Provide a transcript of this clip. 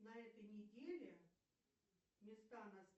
на этой неделе места на